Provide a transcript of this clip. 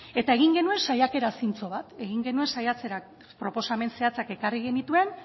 eta egin genuen saiakera zintzo bat egin genuen saiakera proposamen zehatzak ekarri genituen